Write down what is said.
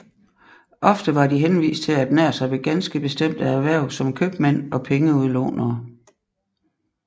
Ofte var de henvist til at ernære sig ved ganske bestemte erhverv som købmænd og pengeudlånere